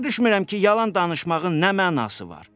Başa düşmürəm ki, yalan danışmağın nə mənası var?